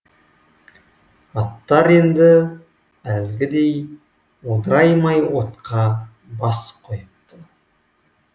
аттар енді әлгідей одыраймай отқа бас қойыпты